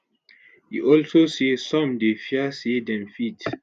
e also say some dey fear say dem fit